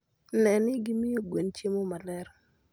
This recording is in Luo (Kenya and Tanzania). Ne ni gimiyo gwen chiemo maler.